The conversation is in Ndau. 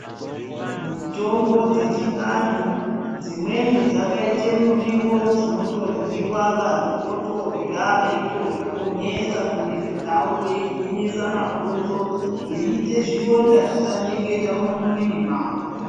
Mitombo dzechivantu dzimweni dzakaite murivo dzinotoryiwa vantu votorya veitozviponesa muviri dzavo, veigwinyisa mabhonzo, veiite zvironda zvisanyeketa mumuviri mawo.